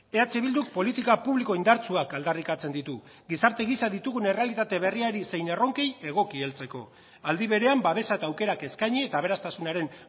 eh bilduk politika publiko indartsuak aldarrikatzen ditu gizarte gisa ditugun errealitate berriari zein erronkei egoki heltzeko aldi berean babesa eta aukerak eskaini eta aberastasunaren